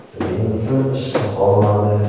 Shuning uchun ish topolmadi.